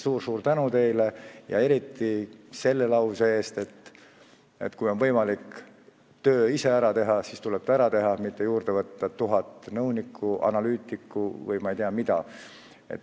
Suur-suur tänu teile eriti selle lause eest, et kui on võimalik töö ise ära teha, siis tuleb see ära teha, mitte juurde võtta tuhat nõunikku, analüütikut või ma ei tea keda.